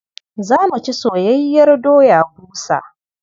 Za mu ci soyayyiyar doya busa.